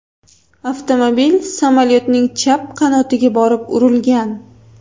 Avtomobil samolyotning chap qanotiga borib urilgan.